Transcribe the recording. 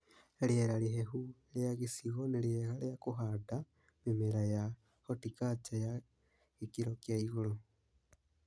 Rĩera rĩhehu rĩa gĩcigo nĩriega rĩa kũhanda mĩmera ya hotikarca ya gĩkĩro kia igũrũ